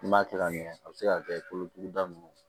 N'i m'a kɛ ka ɲɛ a bi se ka kɛ i kolotuguda nunnu